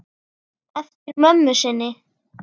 Eftir mömmu sinni.